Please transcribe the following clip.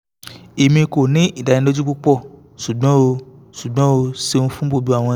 emi ko ni idaniloju pupọ ṣugbọn o ṣugbọn o ṣeun fun gbogbo awọn ibeere mi